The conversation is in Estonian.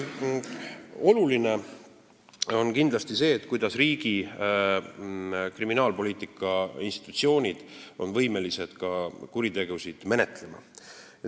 Oluline on kindlasti see, kuidas riigi kriminaalpoliitikainstitutsioonid on võimelised kuritegusid menetlema.